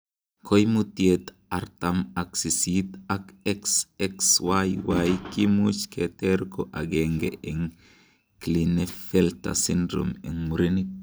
Koimutiet artam ak sisit ak XXYY kimuch keker ko agenge en Klinefelter syndrome en murenik.